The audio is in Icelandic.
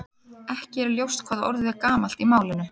Ekki er ljóst hvað orðið er gamalt í málinu.